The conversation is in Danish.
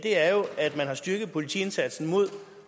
er jo at man har styrket politiindsatsen mod